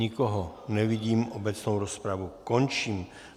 Nikoho nevidím, obecnou rozpravu končím.